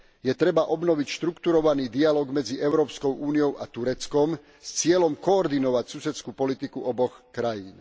Je potrebné obnoviť štruktúrovaný dialóg medzi Európskou úniou a Tureckom s cieľom koordinovať susedskú politiku oboch krajín.